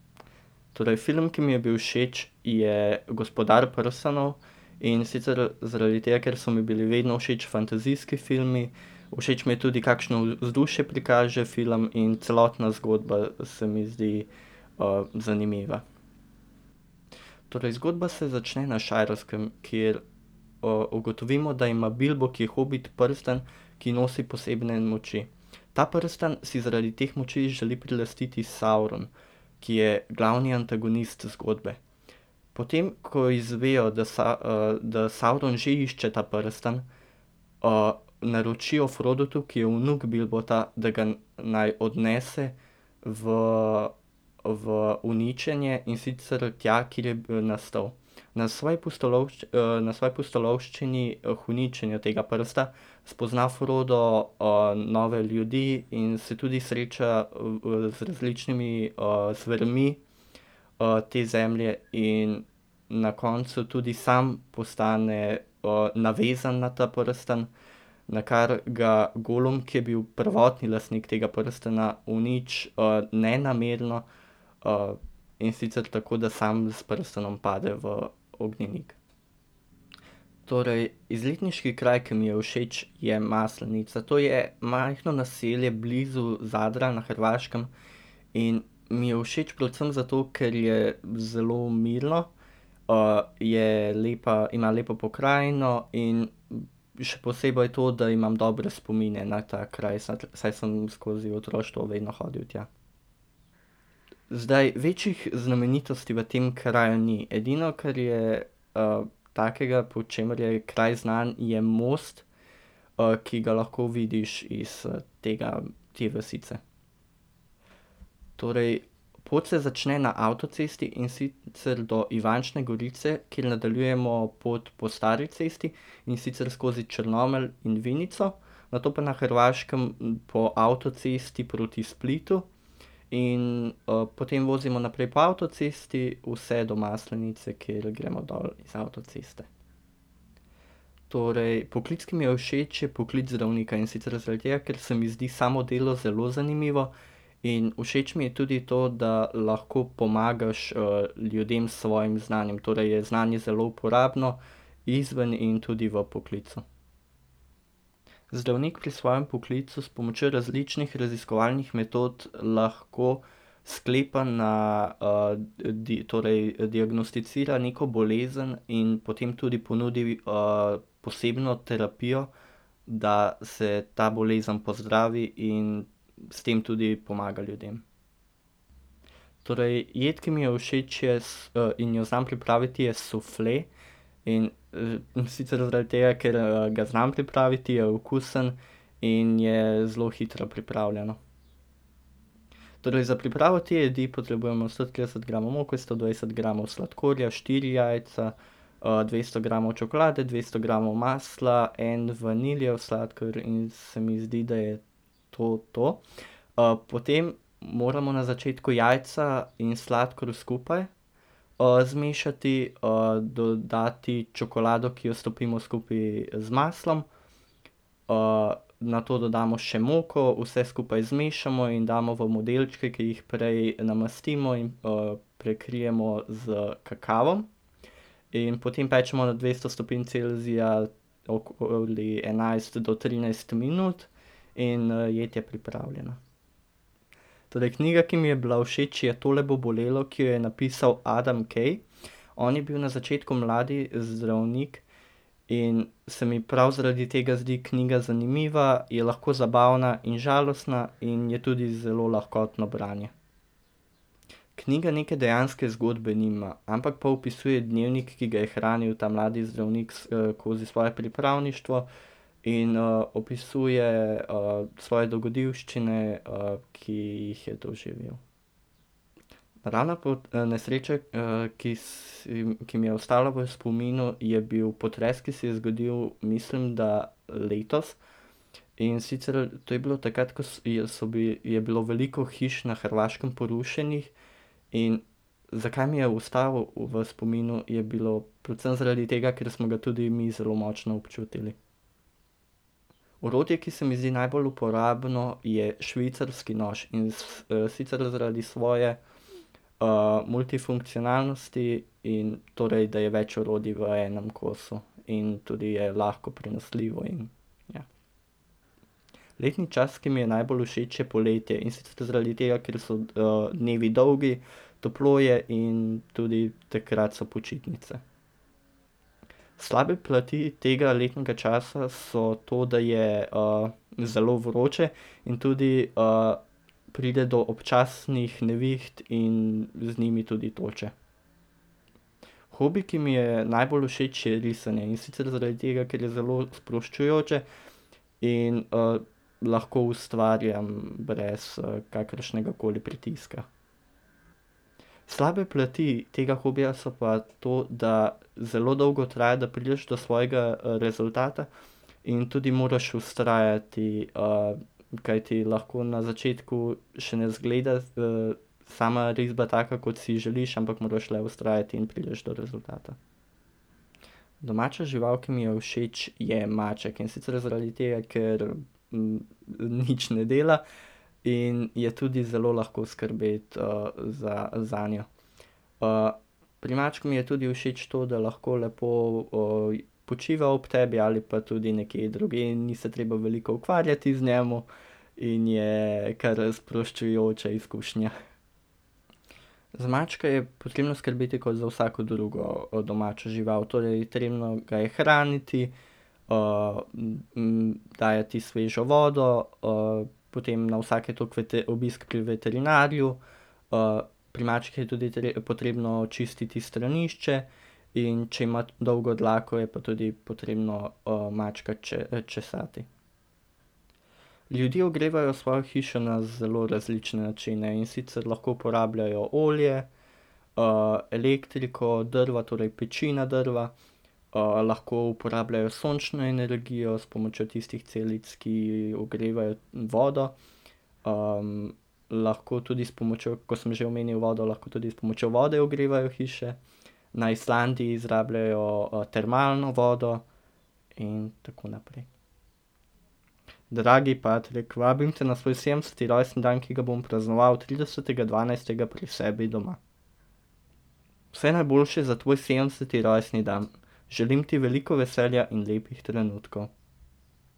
Torej film, ki mi je bil všeč, je Gospodar prstanov. In sicer zaradi tega, ker so mi bili vedno všeč fantazijski filmi. Všeč mi je tudi, kakšno vzdušje prikaže film, in celotna zgodba se mi zdi, zanimiva. Torej zgodba se začne na Šajerskem, kjer, ugotovimo, da ima Bilbo, ki je hobit, prstan, ki nosi posebne moči. Ta prstan si zaradi teh moči želi prilastiti Sauron, ki je glavni antagonist zgodbe. Potem ko izvejo, da da Sauron že išče ta prstan, naročijo Frodotu, ki je vnuk Bilbota, da ga naj odnese v v uničenje, in sicer tja, kjer je nastal. Na svoji na svoji pustolovščini, k uničenju tega prsta spozna Frodo, nove ljudi in se tudi sreča, z različnimi, zvermi, te zemlje in na koncu tudi sam postane, navezan na ta prstan, nakar ga Golum, ki je bil prvotni lastnik tega prstana, uniči, nenamerno, in sicer tako, da samo s prstanom pade v ognjenik. Torej, izletniški kraj, ki mi je všeč, je Maslenica. To je majhno naselje blizu Zadra na Hrvaškem in mi je všeč predvsem zato, ker je zelo mirno. je lepa, ima lepo pokrajino in še posebej to, da imam dobre spomine na ta kraj, saj sem skozi otroštvo vedno hodil tja. Zdaj, večjih znamenitosti v tem kraju ni. Edino, kar je, takega, po čemer je kraj znan, je most, ki ga lahko vidiš iz, tega, te vasice. Torej pot se začne na avtocesti, in sicer do Ivančne Gorice, kjer nadaljujemo pot po stari cesti, in sicer skozi Črnomelj in Vinico, nato pa na Hrvaškem po avtocesti proti Splitu. In, potem vozimo naprej po avtocesti, vse do Maslenice, kjer gremo dol z avtoceste. Torej, poklic, ki mi je všeč, je poklic zdravnika. In sicer zaradi tega, ker se mi zdi samo delo zelo zanimivo, in všeč mi je tudi to, da lahko pomagaš, ljudem s svojim znanjem, torej je znanje zelo uporabno izven in tudi v poklicu. Zdravnik pri svojem poklicu s pomočjo različnih raziskovalnih metod lahko sklepa na, torej diagnosticira neko bolezen in potem tudi ponudi, posebno terapijo, da se ta bolezen pozdravi in s tem tudi pomaga ljudem. Torej, jed, ki mi je všeč, je in jo znam pripraviti, je sufle. In, in sicer zaradi tega, ker, ga znam pripraviti, je okusen in je zelo hitro pripravljeno. Torej, za pripravo te jedi potrebujemo sto trideset gramov moke, sto dvajset gramov sladkorja, štiri jajca, dvesto gramov čokolade, dvesto gramov masla, en vanilijev sladkor in se mi zdi, da je to to. potem moramo na začetku jajca in sladkor skupaj, zmešati, dodati čokolado, ki jo stopimo skupaj z maslom, nato dodamo še moko, vse skupaj zmešamo in damo v modelčke, ki jih prej namastimo in, prekrijemo s kakavom. In potem pečemo na dvesto stopinj Celzija okoli enajst do trinajst minut. In jed je pripravljena. Torej, knjiga, ki mi je bila všeč, je Tole bo bolelo, ki jo je napisal Adam Kay. On je bil na začetku mladi zdravnik in se mi prav zaradi tega zdi knjiga zanimiva, je lahko zabavna in žalostna in je tudi zelo lahkotno branje. Knjiga neke dejanske zgodbe nima, ampak pa opisuje dnevnik, ki ga je hranil ta mladi zdravnik skozi svoje pripravništvo, in, opisuje, svoje dogodivščine, ki jih je doživel. Naravna nesreča, ki si, ki mi je ostala v spominu, je bil potres, ki se je zgodil, mislim, da letos. In sicer to je bilo takrat, ko so bili, je bilo veliko hiš na Hrvaškem porušenih in zakaj mi je ostal v spominu, je bilo predvsem zaradi tega, ker smo ga tudi mi zelo močno občutili. Orodje, ki se mi zdi najbolj uporabno, je švicarski nož, in sicer zaradi svoje, multifunkcionalnosti in torej, da je več orodij v enem kosu. In tudi je lahko prenosljivo in, ja. Letni čas, ki mi je najbolj všeč, je poletje, in sicer zaradi tega, ker so, dnevi dolgi, toplo je in tudi takrat so počitnice. Slabe plati tega letnega časa so to, da je, zelo vroče in tudi, pride do občasnih neviht in z njimi tudi toče. Hobi, ki mi je najbolj všeč, je risanje, in sicer zaradi tega, ker je zelo sproščujoče in, lahko ustvarjam brez, kakršnegakoli pritiska. Slabe plati tega hobija so pa to, da zelo dolgo traja, da prideš do svojega rezultata in tudi moraš vztrajati. kajti lahko na začetku še ne izgleda, sama risba taka, kot si želiš, ampak moraš le vztrajati in prideš do rezultata. Domača žival, ki mi je všeč, je maček. In sicer zaradi tega, ker, nič ne dela in je tudi zelo lahko skrbeti, zanjo. pri mačku mi je tudi všeč to, da lahko lepo, počiva ob tebi ali pa tudi nekje drugje in ni se treba veliko ukvarjati z njim in je kar sproščujoča izkušnja. Za mačke je potrebno skrbeti kot za vsako drugo, domačo žival, torej potrebno ga je hraniti, mu dajati svežo vodo, potem na vsake toliko obisk pri veterinarju, pri mačkih je tudi potrebno čistiti stranišče, in če ima dolgo dlako, je pa tudi potrebno, mačka česati. Ljudje ogrevajo svojo hišo na zelo različne načine, in sicer lahko uporabljajo olje, elektriko, drva, torej peči na drva, lahko uporabljajo sončno energijo s pomočjo tistih celic, ki ogrevajo vodo, lahko tudi s pomočjo, ko sem že omenil vodo, lahko tudi s s pomočjo vode ogrevajo hiše, na Islandiji izrabljajo, termalno vodo in tako naprej. Dragi Patrik, vabim te na svoj sedemdeseti rojstni dan, ki ga bom praznoval tridesetega dvanajstega pri sebi doma. Vse najboljše za tvoj sedemdeseti rojstni dan. Želim ti veliko veselja in lepih trenutkov.